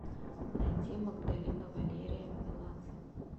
найди магдалина валерия меладзе